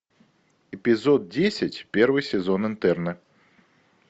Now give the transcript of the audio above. эпизод десять первый сезон интерны